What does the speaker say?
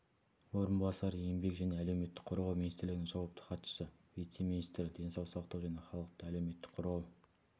орынбасары еңбек және әлеуметтік қорғау министрлігінің жауапты хатшысы вице-министрі денсаулық сақтау және халықты әлеуметтік қорғау